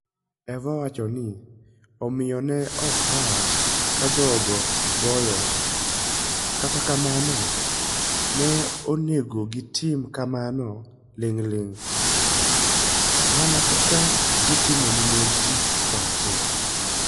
Eva wacho ni: "Omiyo, ne ok rach ka jogo goyowa, kata kamano, ne onego gitim kamano ling'ling ', mana kaka gitimo ne mondegi pacho.